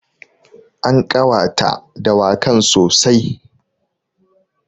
An ƙawata dawakan sossai.